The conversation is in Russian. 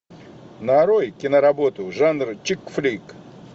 нарой киноработу жанр чикфлик